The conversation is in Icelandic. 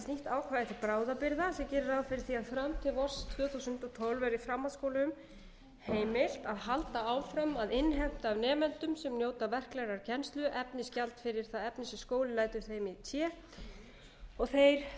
þúsund og tólf verði framhaldsskólum heimilt að halda áfram að innheimta af nemendum sem njóta verklegrar kennslu efnisgjald fyrir það efni sem skólinn lætur þeim í té og þeir